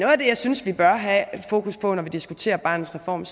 af det jeg synes vi bør have fokus på når vi diskuterer barnets reform